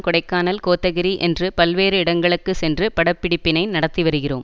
கொடைக்கானல் கோத்தகிரி என்று பல்வேறு இடங்களுக்குச் சென்று படப்பிடிப்பினை நடத்தி வருகிறோம்